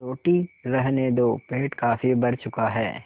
रोटी रहने दो पेट काफी भर चुका है